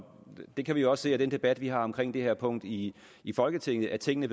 vi kan jo også se af den debat vi har om det her punkt i i folketinget at tingene